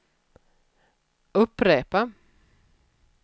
upprepa